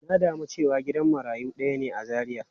Na damu cewa gidan marayu daya ne a Zaria.